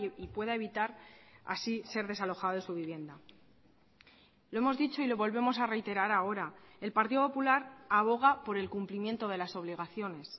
y pueda evitar así ser desalojado de su vivienda lo hemos dicho y lo volvemos a reiterar ahora el partido popular aboga por el cumplimiento de las obligaciones